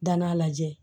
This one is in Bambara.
Dann'a lajɛ